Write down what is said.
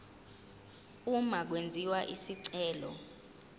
uma kwenziwa isicelo